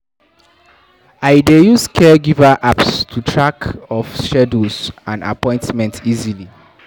I dey use caregiver apps to keep track of schedules and appointments easily.